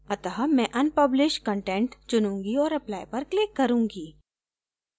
अत: मैं unpublish content चुनूंगी और apply पर click करें